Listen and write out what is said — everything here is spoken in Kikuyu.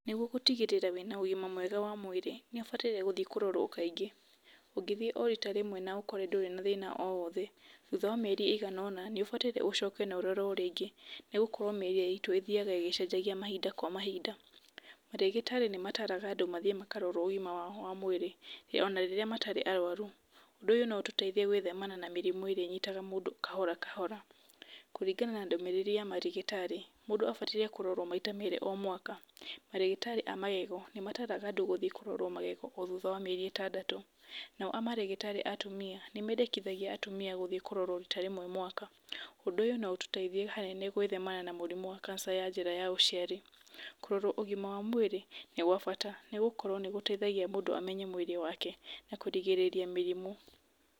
Nĩguo gũtigĩrĩra wĩna ũgima mwega wa mwĩrĩ, nĩũbataire gũthiĩ kũrorwo kaingĩ, ũngĩthiĩ o rita rĩmwe na ũkore ndũrĩ na thĩna o wothe, thutha wa mĩeri ĩganona nĩ ũbataire ũcoke nororwo rĩngĩ, nĩ gũkorwo mĩrĩ itũ ĩthiaga ĩgĩcenjagia mahinda kwa mahinda, marĩgĩtarĩ nĩ mataraga andũ mathiĩ makarorwo ũgima wao wa mwĩrĩ, ona rĩrĩa matarĩ arwaru, ũndũ ũyũ no ũtũteithia gwĩthemana na mĩrimũ ĩrĩa ĩyitaga mũndũ kahora kahora, kũringana na ndũmĩrĩri ya marĩgĩtarĩ mũndũ abataire kũrorwo maita merĩ o mwaka, marĩgĩtarĩ a magego nĩ mataraga andũ gũthiĩ kũrorwo magego o thutha wa mĩeri ĩtandatũ, nao a marĩgĩtarĩ a atumia, nĩ mendekithagia atumia gũthiĩ kũrorwo rita rĩmwe mwaka, ũndũ ũyũ no ũtũteithie hanene gwĩthemana na kanica ya njĩra ya ũciari, kũrorwo ũgima wa mwĩrĩ nĩ gwabata nĩ gũkorwo nĩ gũteithagia mũndũ amenye mwĩrĩ wake, na kũrigĩrĩria mĩrimũ.